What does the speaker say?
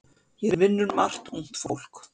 Hér vinnur margt ungt fólk.